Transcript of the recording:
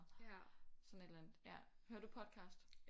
Sådan et eller andet ja hører du podcasts